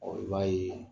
i b'a ye